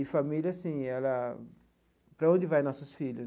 E família, assim, ela... Para onde vai nossos filhos?